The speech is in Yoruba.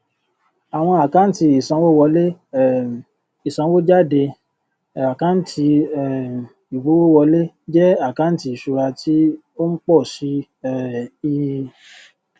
awon akanti isanwowole um isanwojade akanti um igbówowole je akanti isura ti o n po si um i